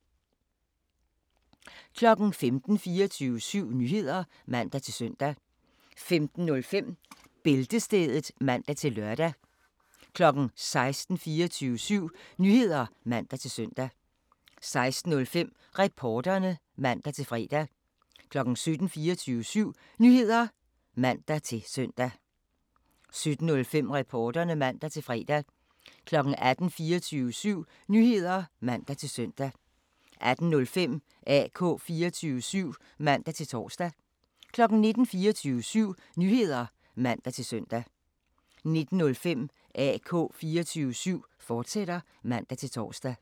15:00: 24syv Nyheder (man-søn) 15:05: Bæltestedet (man-lør) 16:00: 24syv Nyheder (man-søn) 16:05: Reporterne (man-fre) 17:00: 24syv Nyheder (man-søn) 17:05: Reporterne (man-fre) 18:00: 24syv Nyheder (man-søn) 18:05: AK 24syv (man-tor) 19:00: 24syv Nyheder (man-søn) 19:05: AK 24syv, fortsat (man-tor)